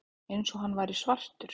Eins og hann væri svartur.